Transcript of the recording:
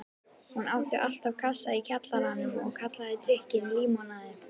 Hún átti alltaf kassa í kjallaranum og kallaði drykkinn límonaði.